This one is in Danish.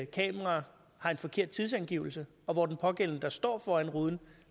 kamera har en forkert tidsangivelse og hvor den pågældende der står foran ruden